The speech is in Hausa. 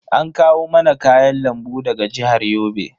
An kawo mana kayan lambu daga jihar Yobe.